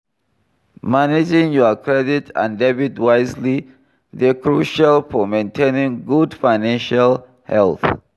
Managing your credit and debit wisely dey crucial for maintainng good financial health.